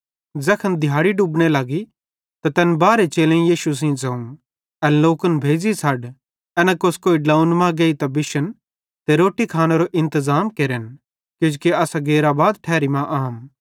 ज़ैखन दिहाड़ी डुबने लगी त तैन बारहे चेलेईं यीशु सेइं ज़ोवं एन लोकन भेज़ी छ़ड एना कोस्कोई ड्लोंव्वन मां गेइतां बिशन ते रोट्टारो इंतज़ाम केरन किजोकि असां गैर आबाद ठैरी आम